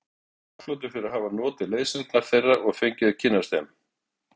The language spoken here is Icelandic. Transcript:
Ég er þakklátur fyrir að hafa notið leiðsagnar þeirra og fengið að kynnast þeim.